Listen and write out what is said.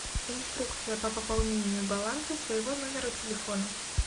инструкция по пополнению баланса своего номера телефона